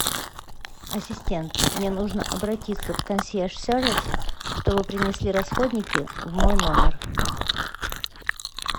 ассистент мне нужно обратиться в консьерж сервис чтобы принесли расходники в мой номер